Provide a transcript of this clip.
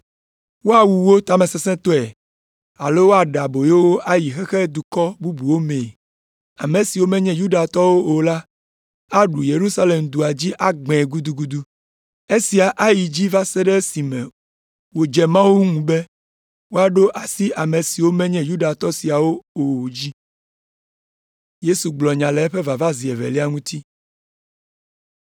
Woawu wo tamesesẽtɔe alo woaɖe aboyo wo ayi xexemedukɔ bubuwo mee. Ame siwo menye Yudatɔwo o la aɖu Yerusalem dua dzi agbãe gudugudu. Esia ayi dzi va se ɖe esime wòdze Mawu ŋu be wòaɖo asi ame siwo menye Yudatɔ siawo o dzi.”